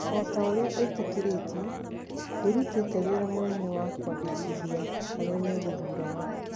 O ta ũrĩa ĩtĩkĩrĩtĩ, nderutĩte wĩra mũnene wa kwandĩkithia arĩa megũthuurana.